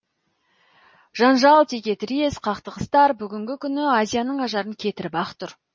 жанжал текетірес қақтығыстар бүгінгі күні азияның ажарын кетіріп ақ тұр